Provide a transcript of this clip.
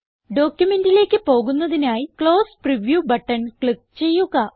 ഡോക്യുമെന്റിലേക്ക് പോകുന്നതിനായി close preview button click ചെയ്യുക